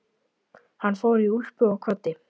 Hann fór í úlpu og kvaddi.